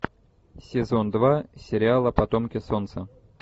сезон два сериала потомки солнца